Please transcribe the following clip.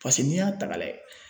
Paseke n'i y'a ta ka lajɛ